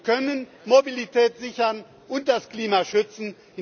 Wir können Mobilität sichern und das Klima schützen.